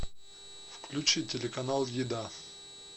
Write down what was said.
включи телеканал еда